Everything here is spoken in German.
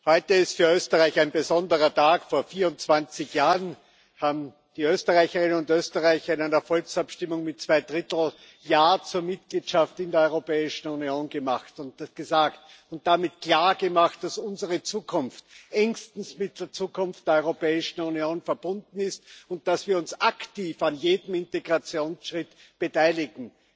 Heute ist für Österreich ein besonderer Tag Vor 24 Jahren haben die Österreicherinnen und Österreicher in einer Volksabstimmung mit Zwei Drittel Mehrheit Ja zur Mitgliedschaft in der Europäischen Union gesagt und damit klargemacht, dass unsere Zukunft engstens mit der Zukunft der Europäischen Union verbunden ist und dass wir uns aktiv an jedem Integrationsschritt beteiligen.